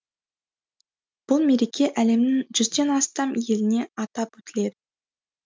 бұл мереке әлемнің жүзден астам еліне атап өтіледі